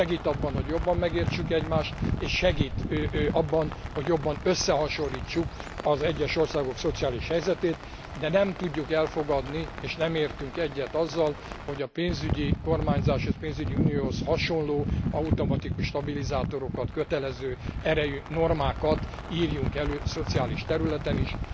Segít abban, hogy jobban megértsük egymást és segít abban, hogy jobban összehasonlítsuk az egyes országok szociális helyzetét, de nem tudjuk elfogadni, és nem értünk egyet azzal, hogy a pénzügyi kormányzáshoz és pénzügyi unióhoz hasonló automatikus stabilizátorokat, kötelező erejű normákat írjunk elő szociális területen is.